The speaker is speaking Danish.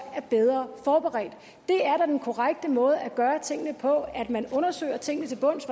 vi bedre forberedt det er da den korrekte måde at gøre tingene på at man undersøger tingene til bunds